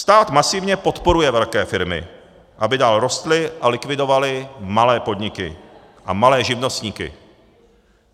Stát masivně podporuje velké firmy, aby dál rostly a likvidovaly malé podniky a malé živnostníky.